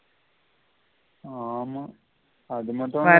ஆமா அது மட்டும் இல்ல பரவாயில்ல